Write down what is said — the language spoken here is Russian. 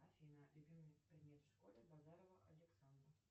афина любимый предмет в школе базарова александра